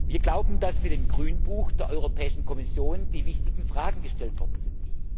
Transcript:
Wir glauben, dass mit dem Grünbuch der Europäischen Kommission die wichtigen Fragen gestellt worden sind.